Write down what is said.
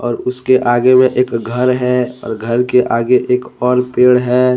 उसके आगे में एक घर है और घर के आगे एक और पेड़ है।